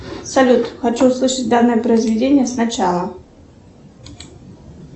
салют хочу услышать данное произведение сначала